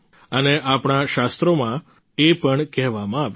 અને આપણા શાસ્ત્રોમાં એ પણ કહેવામાં આવ્યું છે